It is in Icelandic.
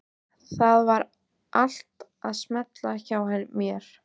Það var allt að smella hjá mér.